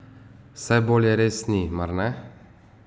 Saj bolje res ni, mar ne?